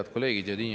Head kolleegid!